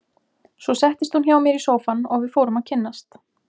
Svo settist hún hjá mér í sófann og við fórum að kynnast.